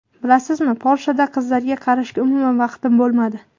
Bilasizmi, Polshada qizlarga qarashga umuman vaqtim bo‘lmadi.